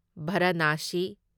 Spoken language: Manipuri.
ꯚꯥꯔꯥꯅꯥꯁꯤ